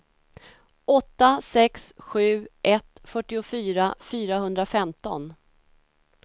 åtta sex sju ett fyrtiofyra fyrahundrafemton